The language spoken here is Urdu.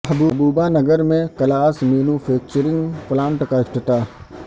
محبوب نگر میں گلاس مینو فیکچرنگ پلانٹ کا افتتاح